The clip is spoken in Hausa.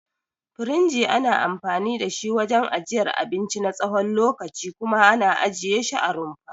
Firinji ana anfani da shi wajen ajiyar abinci na tsawon lokaci kuma ana ajiye shi a rumfa.